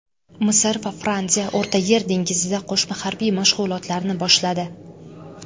Misr va Fransiya O‘rtayer dengizida qo‘shma harbiy mashg‘ulotlarni boshladi.